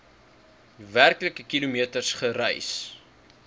werklike kilometers gereis